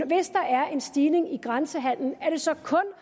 hvis der er en stigning i grænsehandelen så